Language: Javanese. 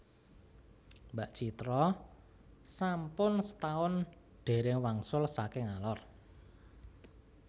Mbak Citra sampun setaun dereng wangsul saking Alor